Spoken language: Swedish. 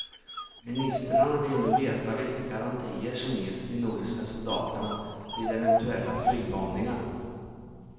Ministrarna vill nu veta vilka garantier som ges de nordiska soldaterna vid eventuella flygbombningar.